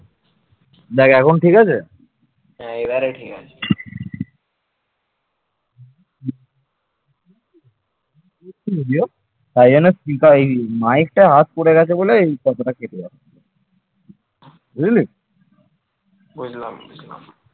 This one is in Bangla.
বুঝলাম বুঝলাম